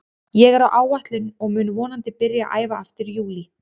Ég er á áætlun og mun vonandi byrja að æfa aftur í júlí.